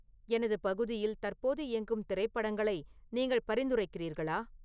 எனது பகுதியில் தற்போது இயங்கும் திரைப்படங்களை நீங்கள் பரிந்துரைக்கிறீர்களா